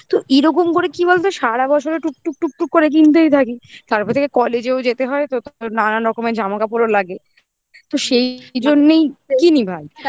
মানে তুই pressure টা রাখিস না যে আমি পুজোর আগে আগে জিনিস কিনব